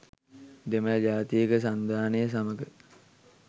දෙමළ ජාතික සන්ධානය සමග